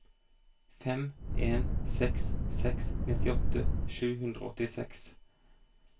fem en seks seks nittiåtte sju hundre og åttiseks